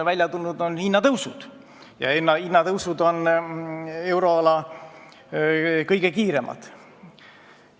Välja on tulnud hinnatõusud ja need hinnatõusud on euroala kõige kiiremad.